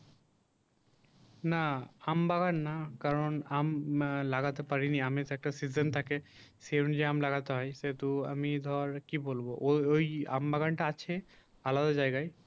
না আম বাগান না কারন আম লাগাতে পারিনি আমের তো একটা session থাকে সে অনুযায়ী আম লাগাতে হয় সেহেতু আমি ধর কি বলবো? ওই ওই আম বাগানটা আছে আলাদা জায়গায়